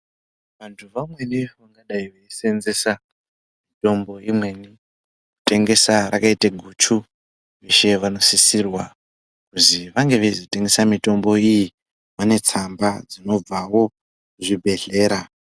Vantu vamweni vangadai veisenzesa mitombo imweni kutengesa rakaite guchu, vanosisirwa kuti vainge vachizotengesa mitombo iyi vane tsamba dzinobvawo kuzvibhedhlera.